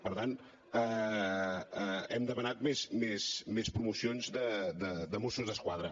per tant hem demanat més promocions de mossos d’esquadra